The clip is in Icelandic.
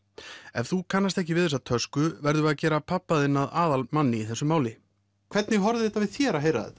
ef þú kannast ekki við þessa tösku verðum við að gera pabba þinn að aðalmanni í þessu máli hvernig horfir þetta við þér að heyra þetta